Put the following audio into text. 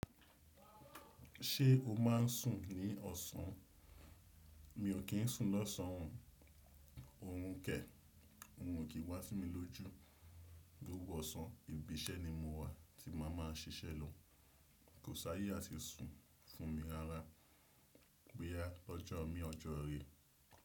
Ṣé o má n sùn ní ọ̀sán? Mi o kín sùn lọ́sàn òn, òn kẹ, òhun o ki wá sí mi lójú. Gbogbo ọ̀sán, ibi iṣẹ́ ni mo wà tí má a má a ṣiṣẹ́ lò. Ko ṣàyà sí sùn fún mi rárá. Boyà lọ́jọ́ mi ọjọ́ rẹ̀